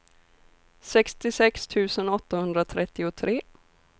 sextiosex tusen åttahundratrettiotre